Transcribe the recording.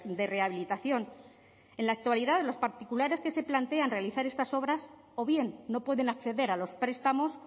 de rehabilitación en la actualidad los particulares que se plantean realizar estas obras o bien no pueden acceder a los prestamos